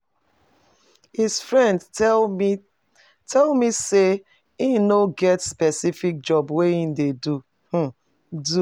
His friend tell me tell me say he no get specific job wey he dey um do